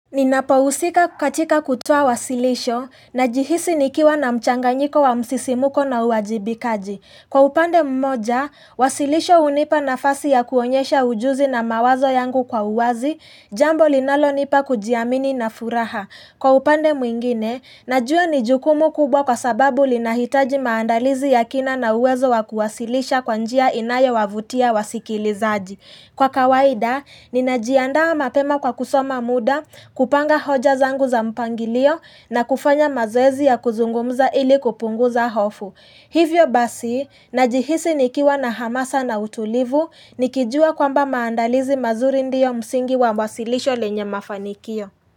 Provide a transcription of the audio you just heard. Ninapohusika katika kutoa wasilisho najihisi nikiwa na mchanganyiko wa msisimko na uwajibikaji. Kwa upande mmoja, wasilisho hunipa nafasi ya kuonyesha ujuzi na mawazo yangu kwa uwazi, jambo linalonipa kujiamini na furaha. Kwa upande mwingine, najua ni jukumu kubwa kwa sababu linahitaji maandalizi ya kina na uwezo wa kuwasilisha kwa njia inayowavutia wasikilizaji. Kwa kawaida, ninajiandaa mapema kwa kusoma muda, kupanga hoja zangu za mpangilio na kufanya mazoezi ya kuzungumza ili kupunguza hofu. Hivyo basi, najihisi nikiwa na hamasa na utulivu, nikijua kwamba maandalizi mazuri ndio msingi wa mwasilisho lenye mafanikio.